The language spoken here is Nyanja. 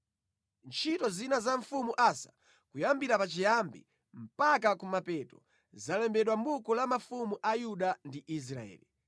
Ntchito zina za mfumu Asa, kuyambira pachiyambi mpaka kumapeto zalembedwa mʼbuku la mafumu a Yuda ndi Israeli.